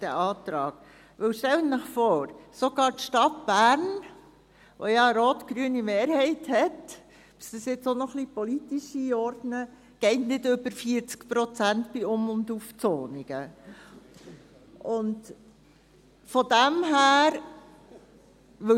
Stellen Sie sich vor, sogar die Stadt Bern, welche eine rot-grüne Mehrheit hat – ich möchte dies auch noch ein bisschen politisch einordnen – geht bei Um- und Aufzonungen nicht über 40 Prozent.